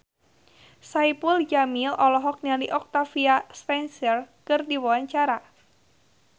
Saipul Jamil olohok ningali Octavia Spencer keur diwawancara